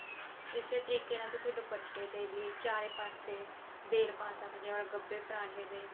ਇਸੇ ਤਰੀਕੇ ਨਾਲ ਤੁਸੀਂ ਦੁਪੱਟੇ ਤੇ ਵੀ ਚਾਰੇ ਪਾਸੇ ਬੇਲ ਪਾ ਸਕਦੇ ਆਂ ਗੱਬੇ ਪਰਾਂਠੇ ਦੇ